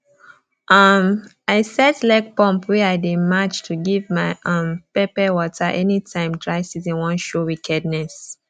um i set legpump wey i dey match to give my um pepper water anytime dry season wan show wickedness